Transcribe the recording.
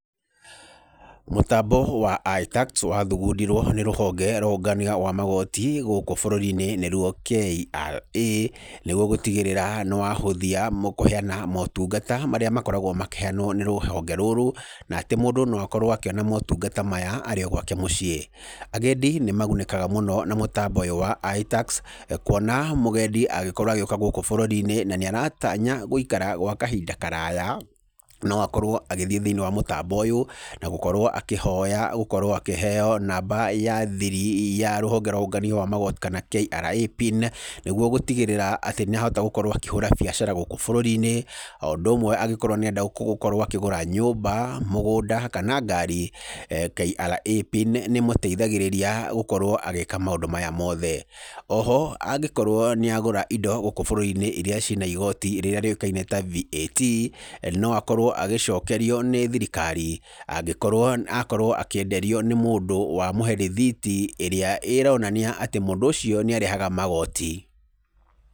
Mũtambo wa iTax wathugundirwo nĩ rũhonge rwa ũngania wa magoti gũkũ bũrũri-inĩ nĩruo KRA nĩguo gũtigĩrĩra nĩ rwahũthia motungata marĩa makoragwo makĩheanwo nĩ rũhonge rũrũ na atĩ mũndũ no akorwo akĩona motungata maya arĩ o gwake muciĩ. Agendi nĩmagunĩkaga mũno na mũtambo ũyũ wa iTax kuona mũgendi agĩkorwo agĩũka gũkũ bũrũri-inĩ na nĩ aratanya gũikara gwa kahinda karaya, no akorwo agĩthiĩ thĩinĩ wa mũtambo ũyũ na gũkorwo akĩhoya gũkorwo akĩheo namba ya thiri ya rũhonge rwa ũngania wa magoti kana KRA Pin, nĩguo gũtigĩrĩra atĩ nĩahota gũkorwo akĩhũra biacara gũkũ bũrũri-inĩ, o ũndũ ũmwe agĩkorwo nĩarenda gũkorwo akĩgũra nyũmba, mũgũnda kana ngari, KRA Pin nĩĩmũteithagĩrĩria gũkorwo agĩka maũndũ maya mothe. Oho angĩkorwo nĩagũra indo gũkũ bũrũri-inĩ iria cina igoti rĩrĩa rĩũĩkaine ta VAT no akorwo agĩcokerio nĩ thirikari angĩkorwo akorwo akĩenderio nĩ mũndũ wa mũhe rĩthiti ĩrĩa ĩronania atĩ mũndũ ũcio nĩarehaga magoti.